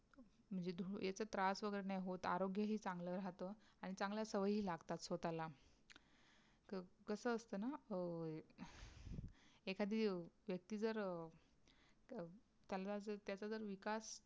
म्हणजे धुरेच त्रास वगैरे नाही होत, आरोग्य ही चांगला राहत आणि चांगल्या सवयी ही लागतात स्वतःला. तर कस असत ना अं एखादी व्यक्ती जर त्यांला त्याचा जर विकास त्याचा जे